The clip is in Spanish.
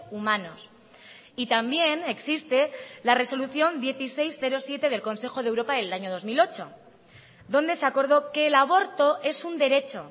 humanos y también existe la resolución dieciséis barra siete del consejo de europa del año dos mil ocho donde se acordó que el aborto es un derecho